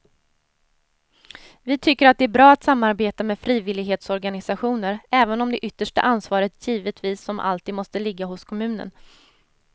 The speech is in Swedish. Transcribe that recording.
Vi tycker att det är bra att samarbeta med frivillighetsorganisationer även om det yttersta ansvaret givetvis som alltid måste ligga hos kommunen.